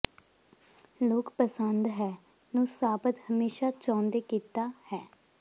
ਲੋਕ ਪਸੰਦ ਹੈ ਨੂੰ ਸਾਬਤ ਹਮੇਸ਼ਾ ਚਾਹੁੰਦੇ ਕੀਤਾ ਹੈ